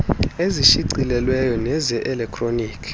ezishicilelweyo neze elektroni